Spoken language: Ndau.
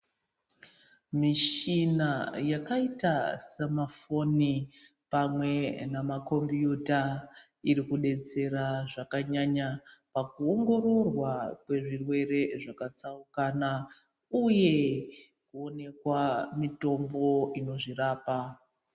Michina yakaita semafoni pamwe nema computer iri kudetsera zvakanyanya pakuongororwa kwezvirwere zvakatsaukana uye kuonekwa mitombo inozvirapa.